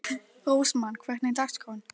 Rósmann, hvernig er dagskráin?